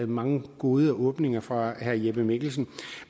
mange gode åbninger fra herre jeppe mikkelsen